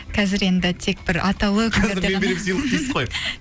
қазір енді тек бір атаулты күндерде ғана